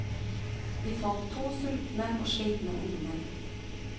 Vi fant to sultne og slitne ungdommer.